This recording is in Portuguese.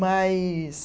Mas